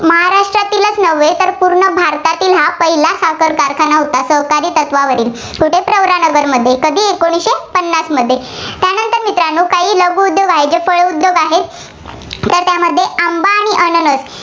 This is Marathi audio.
नव्हे तर पूर्ण भारतातील हा पहिला साखर कारखाना होता, सहकारी तत्वावरील. कुठे? प्रवरानगरमध्ये. कधी एकोणीसशे पन्नासमध्ये. त्यानंतर मित्रांनो काही लघुउद्योग जे फळ उद्योग आहेत, तर त्यामध्ये आंबा आणि